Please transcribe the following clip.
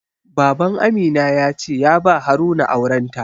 Baban Amina ya ce ya ba Haruna auren ta.